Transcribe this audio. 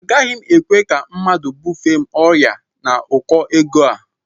Agaghị m ekwe ka mmadụ bufee m ọrịa n'ụkọ ego a